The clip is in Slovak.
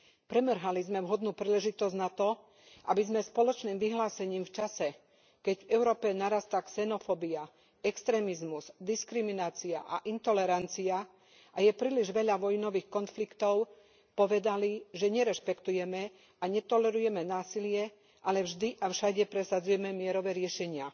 Premrhali sme vhodnú príležitosť na to, aby sme spoločným vyhlásením v čase, keď v Európe narastá xenofóbia, extrémizmus, diskriminácia a intolerancia a je príliš veľa vojnových konfliktov, povedali, že nerešpektujeme a netolerujeme násilie a vždy a všade presadzujeme mierové riešenia.